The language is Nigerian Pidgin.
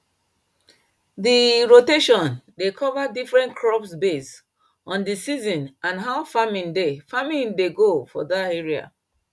di rotation dey cover different crops base on d season and how farming dey farming dey go for dat area